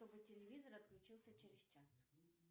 чтобы телевизор отключился через час